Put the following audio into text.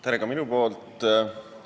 Tere!